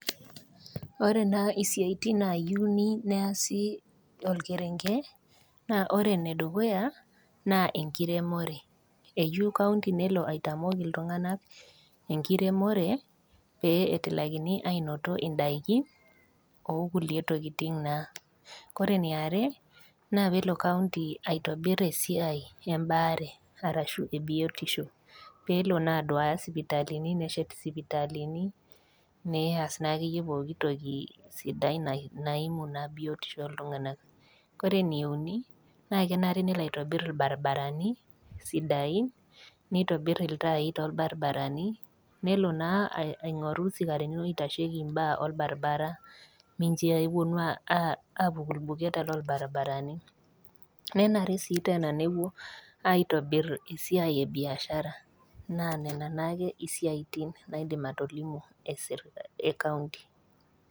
Ore naa isiaitin nayiouni neasi tolkerenke naa ore ene dukuya naa enkiremore, eyieu kaunti nelo aitamok iltung'anak enkiremore pee etilakini ainoto indaiki,o kulie tokitin naa. Ore ene are naa peelo kaunti aitobir esiai embaare ashu e biotisho, peelo naa aduaya isipitalini, peeshet isipitalini neas naa ake iyie pooki toki, sidai naa naimu biotishu o iltung'ana. Ore ene uni naa kenare pee elo aitobir ilbaribarani sidain, neitobir iltai sidain, nelo naa aing'oru isikarini oitasheiki imbaa olbaribara mincho naa epuonu apuku ilbuketa lolbaribarani. Nenare sii teena nepuo aitobir esiai e biashara naa nena naake esiaitin naidim atolimu eserkali, e kaunti.